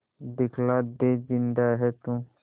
दिखला दे जिंदा है तू